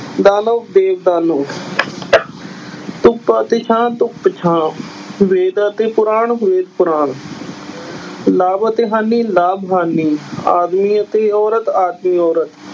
ਦਾਨਵ ਦੇਵ ਦਾਨਵ ਧੁੱਪ ਅਤੇ ਛਾਂ ਧੁੱਪ ਛਾਂ, ਵੇਦ ਅਤੇ ਪੁਰਾਣ ਵੇਦ ਪੁਰਾਣ ਲਾਭ ਅਤੇ ਹਾਨੀ ਲਾਭ ਹਾਨੀ, ਆਦਮੀ ਅਤੇ ਔਰਤ ਆਦਮੀ ਔਰਤ